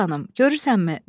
Nigər xanım, görürsənmi?